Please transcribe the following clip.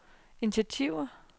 initiativer